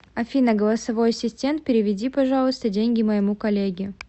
афина голосовой ассистент переведи пожалуйста деньги моему коллеге